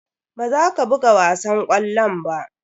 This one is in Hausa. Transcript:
Baza ka buga wasan ƙwallon ba.